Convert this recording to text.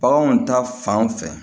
Baganw ta fan fɛ